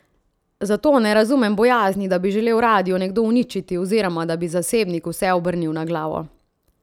Zato ne razumem bojazni, da bi želel radio nekdo uničiti oziroma da bi zasebnik vse obrnil na glavo.